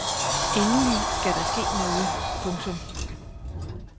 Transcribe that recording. Endelig skal der ske noget. punktum